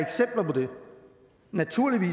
man nu